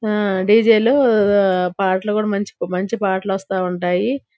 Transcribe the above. ఆ డి.జే. లో పాటలు కూడా మంచి మంచి పాటలు వస్తావుంటాయి.